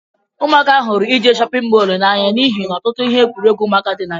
Umuntakiri hụrụ ije n'shóppin mol na-anya n'ihi na ọtụtụ ihe egwuruegwu ụmụaka dị na ya.